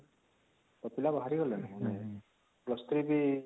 ସବୁ ପିଲା ବାହାରି ଗଲେଣି ନ +3 ବି